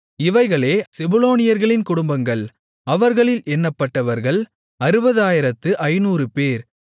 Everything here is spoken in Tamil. இவைகளே செபுலோனியர்களின் குடும்பங்கள் அவர்களில் எண்ணப்பட்டவர்கள் 60500 பேர்